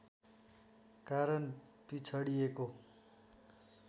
कारण पिछडिएको